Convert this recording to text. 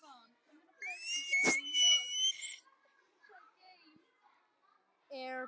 Tóti kom æðandi inn í stofuna.